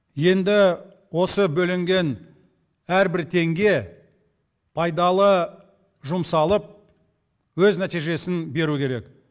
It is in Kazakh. енді осы бөлінген әрбір теңге пайдалы жұмсалып өз нәтижесін беру керек